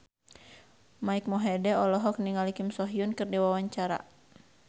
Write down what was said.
Mike Mohede olohok ningali Kim So Hyun keur diwawancara